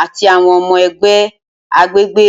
ati awọn ọmọ ẹgbẹ agbegbe.